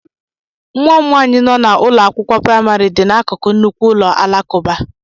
Nwa m nwanyị nọ na ụlọ akwụkwọ praịmarị dị n'akụkụ nnukwu ụlọ alakụba